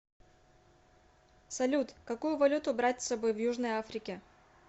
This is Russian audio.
салют какую валюту брать с собой в южной африке